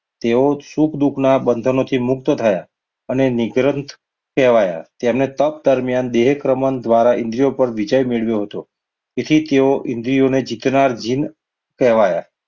તેઓ સુખ દુઃખના બંધનોથી મુક્ત થયા. અને નીકરંદ કહેવાયા. તેમણે તપ દરમિયાન દેહક્રમણ દ્વારા ઇન્દ્રિયો પર વિજય મેળવ્યો હતો. તેથી તેઓ ઇન્દ્રિયોને જીતનાર જીન કહેવાયા.